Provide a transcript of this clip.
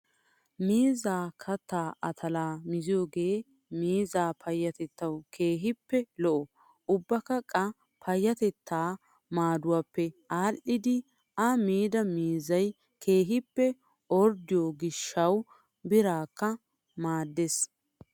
Miizzaa kattaa utulaa miziyoogee miizzaa payyatettawu keehippe lo'o. Ubbakka qa payyatettaa maaduwaappe aadhdhidi A miida miizzayi keehippe orddiyoo gishshawu biraakka maaddes.